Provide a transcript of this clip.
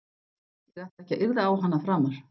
Ég ætla ekki að yrða á hana framar.